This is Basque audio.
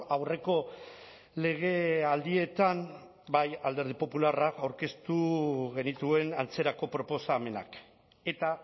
aurreko legealdietan bai alderdi popularra aurkeztu genituen antzerako proposamenak eta